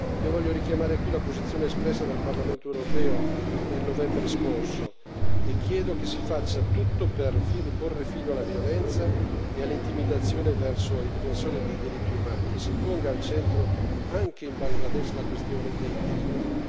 Io voglio richiamare qui la posizione espressa dal Parlamento europeo nel novembre scorso e chiedo che si faccia tutto per porre fine alla violenza e all'intimidazione verso i difensori dei diritti umani e che si ponga al centro, anche in Bangladesh, la questione dei diritti.